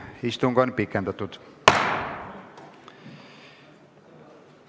Istung on pikendatud.